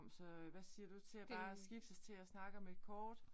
Så hvad siger du til at bare skiftes til at snakke om et kort?